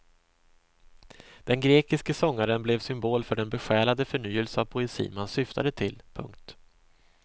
Den grekiske sångaren blev symbol för den besjälade förnyelse av poesin man syftade till. punkt